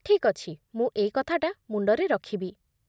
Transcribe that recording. ଠିକ୍ ଅଛି, ମୁଁ ଏଇ କଥାଟା ମୁଣ୍ଡରେ ରଖିବି ।